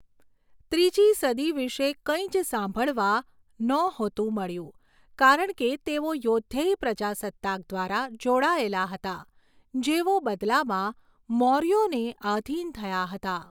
ત્રીજી સદી વિશે કંઈ જ સાંભળવા નહોતું મળ્યું કારણ કે તેઓ યૌધેય પ્રજાસત્તાક દ્વારા જોડાયેલા હતા જેઓ બદલામાં મૌર્યોને આધિન થયા હતા.